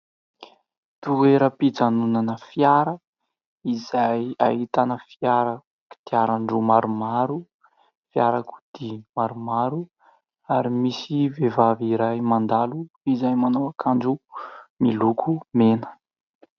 Toeram-pijanonana fiara izay ahitana fiara kodiaran-droa maromaro, fiarakodia maromaro, ary misy vehivavy iray mandalo izay manao akanjo miloko mena.